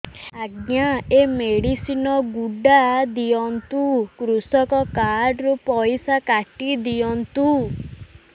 ଆଜ୍ଞା ଏ ମେଡିସିନ ଗୁଡା ଦିଅନ୍ତୁ କୃଷକ କାର୍ଡ ରୁ ପଇସା କାଟିଦିଅନ୍ତୁ